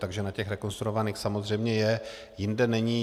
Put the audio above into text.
Takže na těch rekonstruovaných samozřejmě je, jinde není.